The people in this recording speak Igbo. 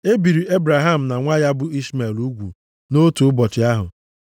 E biri Ebraham na nwa ya bụ Ishmel ugwu nʼotu ụbọchị ahụ.